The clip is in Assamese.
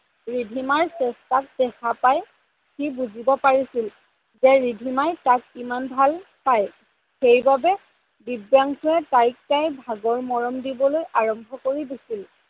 ৰিধিমাৰ চেষ্টাক দেখা পাই সি বুজিব পাৰিছিল যে ৰিধিমাই তাক কিমান ভাল পাই। সেইবাবে দিব্যাংসুয়ে তাইক তাইৰ ভাগৰ মৰম দিবলৈ আৰম্ভ কৰি দিছিল।